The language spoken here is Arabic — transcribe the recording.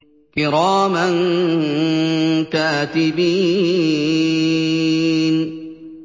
كِرَامًا كَاتِبِينَ